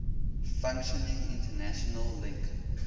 functioning international link